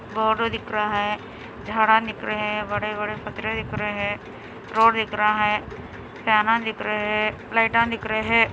Board दिख रहा है झाड़ा दिख रहा हैं बड़े बड़े पत्थर दिख रहे हैं रोड दिख रहे हैं लाइट ऑन दिख रहे हैं।